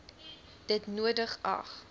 dit nodig ag